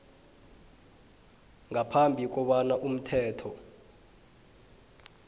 ngaphambi kobana umthetho